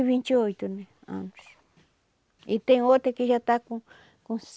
vinte e oito né anos e tem outra que já está com com